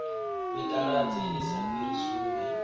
mitaladzi i sa fhiri sumbe